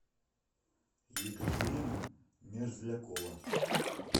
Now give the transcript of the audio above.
екатерина мерзлякова